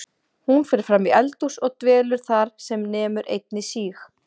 Hún fer fram í eldhús og dvelur þar sem nemur einni síg